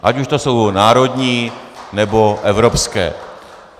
Ať už to jsou národní, nebo evropské.